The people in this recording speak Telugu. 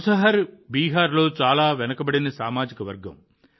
ముసహర్ బీహార్లో చాలా వెనుకబడిన సామాజిక వర్గం